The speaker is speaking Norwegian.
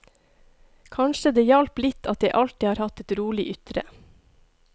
Kanskje det hjalp litt at jeg alltid har hatt et rolig ytre.